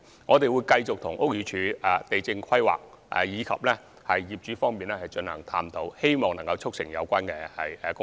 我們會繼續與屋宇署、地政總署、規劃署及業主進行探討，希望可以促成有關工作。